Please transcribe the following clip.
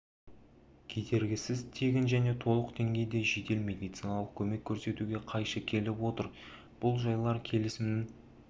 кедергісіз тегін және толық деңгейде жедел медициналық көмек көрсетуге қайшы келіп отыр бұл жайлар келісімнің